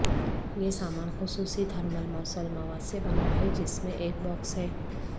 یہ سامان خصوصی تھرمل موصل مواد سے بنا ہے جس میں ایک باکس ہے